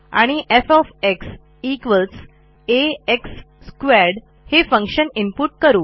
आणि f आ x2 हे फंक्शन इनपुट करू